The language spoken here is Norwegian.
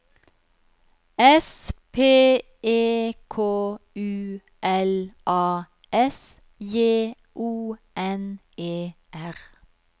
S P E K U L A S J O N E R